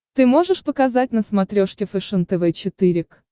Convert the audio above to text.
ты можешь показать на смотрешке фэшен тв четыре к